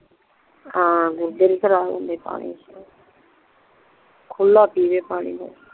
ਹਾਂ ਗੁਰਦੇ ਨਹੀਂ ਖਰਾਬ ਹੁੰਦੇ ਪਾਣੀ ਚ ਖੁੱਲਲ ਪੀਵੈ ਪਾਣੀ